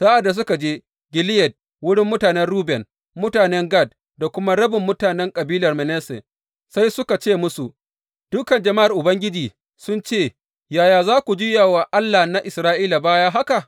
Sa’ad da suka je Gileyad, wurin mutanen Ruben, mutanen Gad da kuma rabin mutanen kabilar Manasse, sai suka ce musu, Dukan jama’ar Ubangiji sun ce yaya za ku juya wa Allah na Isra’ila baya haka?